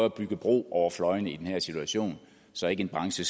at bygge bro over fløjene i den her situation så en branche